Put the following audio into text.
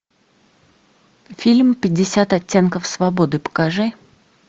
фильм пятьдесят оттенков свободы покажи